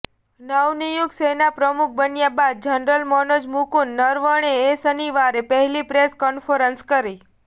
નવનિયુક્ત સેના પ્રમુખ બન્યા બાદ જનરલ મનોજ મુકુંદ નરવણે એ શનિવારે પહેલી પ્રેસ કોન્ફરન્સ કરી